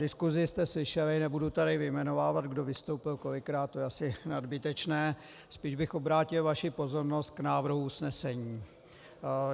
Diskusi jste slyšeli, nebudu tady vyjmenovávat, kdo vystoupil kolikrát, to je asi nadbytečné, spíš bych obrátil vaši pozornost k návrhu usnesení.